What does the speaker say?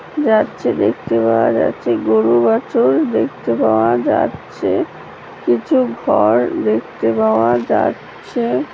যাচ্ছে দেখতে পাওয়া যাচ্ছে গরু বাছুর দেখতে পাওয়া যাচ্ছে কিছু ঘর দেখতে পাওয়া যাচ্ছে।